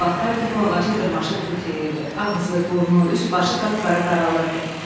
Sonra o vaxtlar ki, bu ağaca dırmaşıb tut yeyirdi, ağzı, burnu, üzbaşı qapqara qaralırdı.